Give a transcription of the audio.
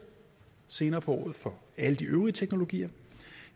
senere på året for alle de øvrige teknologier